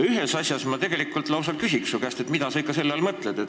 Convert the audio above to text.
Ühe asja kohta ma lausa küsin su käest, et mida sa selle all mõtled.